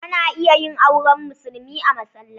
Ana iya yin auren musulmi a masallaci.